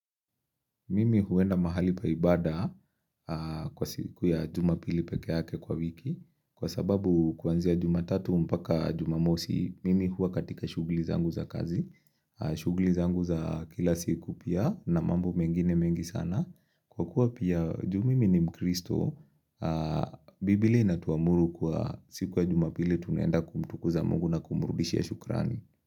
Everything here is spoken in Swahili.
Mimi huenda mahali pa ibada kwa siku ya jumapili pekeyake kwa wiki Kwa sababu kwanzia jumatatu mpaka jumamosi Mimi hua katika shugli zangu za kazi shugli zangu za kila siku pia na mambo mengine mengi sana Kwa kuwa pia juu mimi ni mkristo Biblia inatuamuru kwa siku ya jumapili tunenda kumtukuza mungu na kumrudishia shukrani.